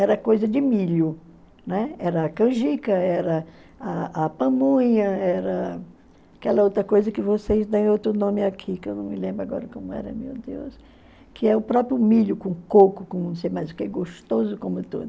Era coisa de milho, né, era a canjica, era a pamonha, era aquela outra coisa que vocês dão outro nome aqui, que eu não me lembro agora como era, meu Deus, que é o próprio milho com coco, com não sei mais o que, gostoso como tudo.